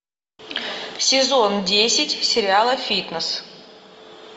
сезон десять сериала фитнес